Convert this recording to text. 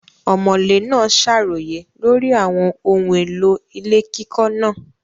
Ọ̀mọ̀lé náà ṣàròyé lórí àwọn ohun èlò ilé kíkọ́ náà.